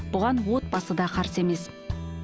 бұған отбасы да қарсы емес